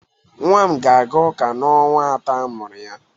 Nwam ga-aga uka n'ọnwa atọ amụru ya.